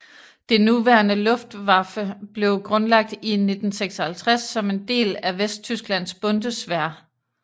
Det nuværende Luftwaffe blev grundlagt i 1956 som en del af Vesttysklands Bundeswehr